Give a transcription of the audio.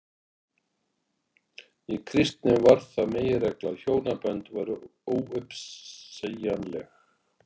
Í kristni varð það meginregla að hjónabönd væru óuppsegjanleg.